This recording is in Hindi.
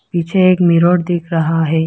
पीछे एक मिरर दिख रहा है।